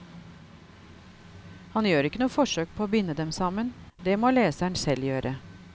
Han gjør ikke noe forsøk på å binde dem sammen, det må leseren selv gjøre.